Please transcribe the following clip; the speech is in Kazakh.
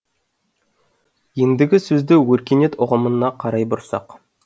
ендігі сөзді өркениет ұғымына қарай бұрсақ